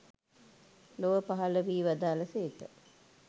ලොව පහළ වී වදාළ සේක.